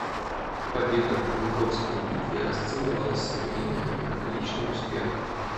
победа в куликовской битве расценивалась современниками как личный успех